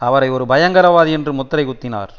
அவரை ஒரு பயங்கரவாதி என்று முத்திரை குத்தினார்